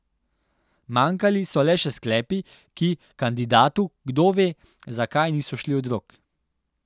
Manjkali so le še sklepi, ki kandidatu kdove zakaj niso šli od rok.